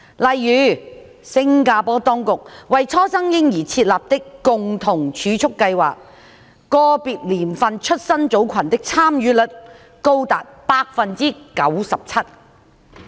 例如，新加坡當局為初生嬰兒設立的共同儲蓄計劃，個別年份出生組群的參與率高達百分之九十七。